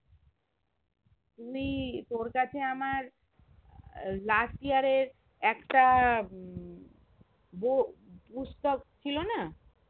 তুই তোর কাছে আমার আহ last year এর একটা উম পুস্তক ছিল না?